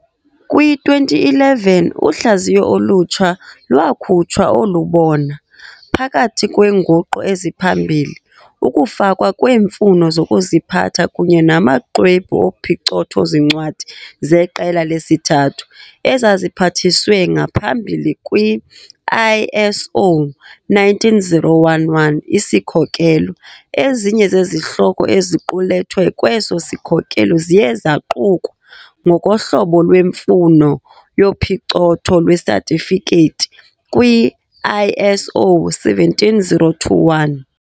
Kwi-2011, uhlaziyo olutsha lwakhutshwa olubona, phakathi kweenguqu eziphambili, ukufakwa kweemfuno zokuziphatha kunye namaxwebhu ophicotho-zincwadi zeqela lesithathu, ezaziphathiswe ngaphambili kw- ISO 19011 isikhokelo, ezinye zezihloko eziqulethwe kweso sikhokelo ziye zaqukwa, ngokohlobo lwemfuno yophicotho lwesatifikethi, kwi-ISO 17021.